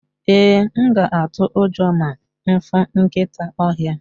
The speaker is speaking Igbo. ee, m ga atu ujo ma m fu nkita ohia